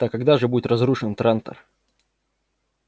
так когда же будет разрушен трантор